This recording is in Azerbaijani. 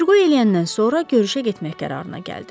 Götür-qoy eləyəndən sonra görüşə getmək qərarına gəldi.